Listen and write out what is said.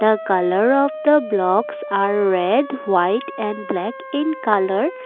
the colour of the blocks are red white and black in colour.